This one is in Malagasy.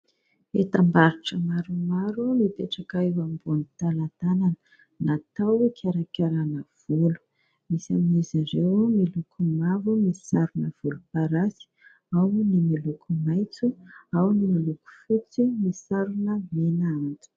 Entam-barotra maromaro, mipetraka eo ambony talantalana, natao hikarakarana volo. Misy amin'izy ireo miloko mavo misy sarony volomparasy, ao ny miloko maitso, ao ny miloko fotsy misy sarony mena antitra.